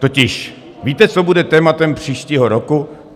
Totiž víte, co bude tématem příštího roku?